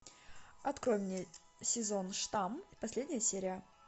открой мне сезон штамм последняя серия